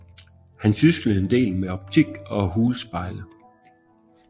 Han syslede en del med optik og hulspejle